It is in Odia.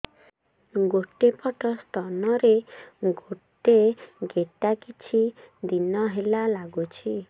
ଗୋଟେ ପଟ ସ୍ତନ ରେ ଗୋଟେ ଗେଟା କିଛି ଦିନ ହେଲା ଲାଗୁଛି